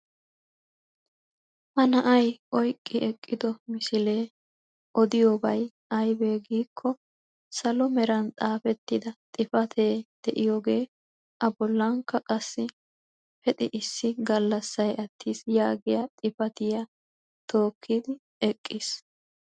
Ha na'ay oyqqi eqqido misilee odiyoobay aybee giikko! salo meeran xaafettida xifatee de'iyoogee a bollankka qassi pexxi issi gallassay attiis yaagiyaa xifatiyaa tookkidi eqqiis.